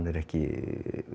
er ekki